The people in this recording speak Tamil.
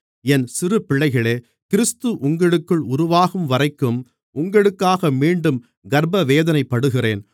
என் சிறுப்பிள்ளைகளே கிறிஸ்து உங்களுக்குள் உருவாகும்வரைக்கும் உங்களுக்காக மீண்டும் கர்ப்பவேதனைப்படுகிறேன்